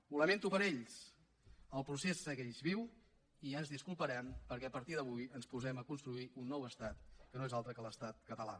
ho lamento per ells el procés segueix viu i ja ens disculparan perquè a partir d’avui ens posem a construir un nou estat que no és altre que l’estat català